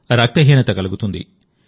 రక్తహీనత కలుగుతుంది